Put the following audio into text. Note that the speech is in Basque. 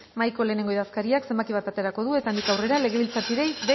mahaiko lehengo idazkariak zenbaki bat aterako du eta handik aurrera legebiltzarkideei